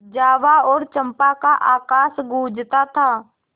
जावा और चंपा का आकाश गँूजता था